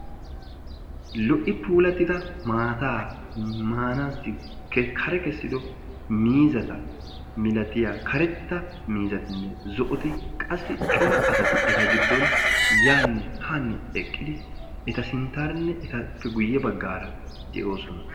lo''i puulatida maata maanassi kare kessido miizata malatiya karetta miizatinne zo''oti qassi coraa asati eta giddon yaanne haanne eqqidi eta sinttaara eta guyye baggara de'oosona.